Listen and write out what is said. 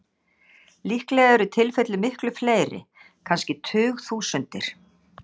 Líklega eru tilfellin miklu fleiri, kannski tugþúsundir.